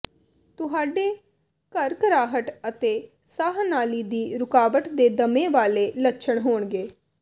ਤੁਹਾਡੇ ਘਰਘਰਾਹਟ ਅਤੇ ਸਾਹ ਨਾਲੀ ਦੀ ਰੁਕਾਵਟ ਦੇ ਦਮੇ ਵਾਲੇ ਲੱਛਣ ਹੋਣਗੇ